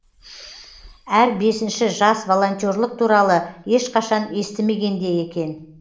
әр бесінші жас волонтерлік туралы ешқашан естімеген де екен